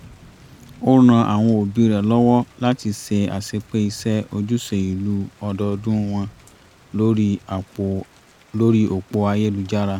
ó ran àwọn òbí rẹ̀ lọ́wọ́ láti ṣe àṣepé iṣẹ́ ojúṣe ìlú ọdọọdún wọn lórí òpó ayélujára